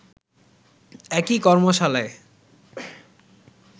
একই কর্মশালায়